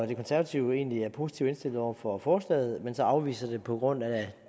de konservative er egentlig positivt indstillet over for forslaget men de afviser det så på grund af